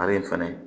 A bɛ fɛnɛ